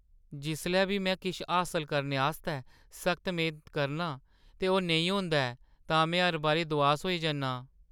जिसलै बी में किश हासल करने आस्तै सख्त मेह्‌नत करनां ते ओह् नेईं होंदा ऐ तां में हर बारी दुआस होई जन्ना आं।